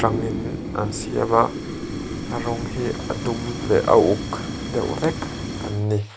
an siam a a rawng hi a dum leh a uk deuh vek an ni.